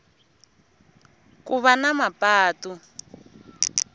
ku va na mapatu